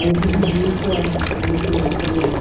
Aí eu dividi com com o meu cunhado e com a minha irmã.